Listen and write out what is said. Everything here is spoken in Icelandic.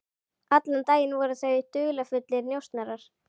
Allan daginn voru þau dularfullir njósnarar.